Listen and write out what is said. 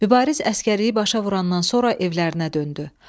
Mübariz əsgərliyi başa vurandan sonra evlərinə döndü.